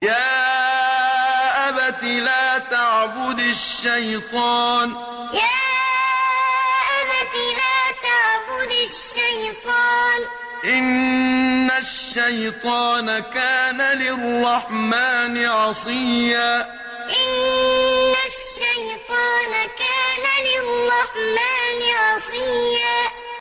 يَا أَبَتِ لَا تَعْبُدِ الشَّيْطَانَ ۖ إِنَّ الشَّيْطَانَ كَانَ لِلرَّحْمَٰنِ عَصِيًّا يَا أَبَتِ لَا تَعْبُدِ الشَّيْطَانَ ۖ إِنَّ الشَّيْطَانَ كَانَ لِلرَّحْمَٰنِ عَصِيًّا